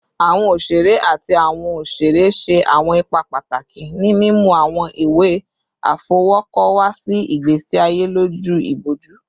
Awọn oṣere ati awọn oṣere ṣe awọn ipa pataki ni mimu awọn iwe afọwọkọ wa si igbesi aye loju iboju